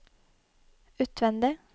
utvendig